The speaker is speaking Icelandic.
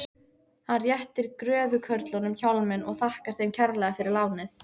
Hann réttir gröfukörlunum hjálminn og þakkar þeim kærlega fyrir lánið.